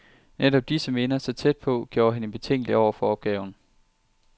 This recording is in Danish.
Netop disse minder, så tæt på, gjorde hende betænkelig over for opgaven.